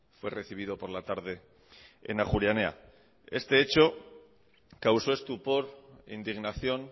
fue recibido por la tarde en ajuria enea este hecho causó estupor indignación